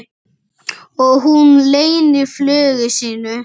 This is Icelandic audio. Og hún leynir flugi sínu.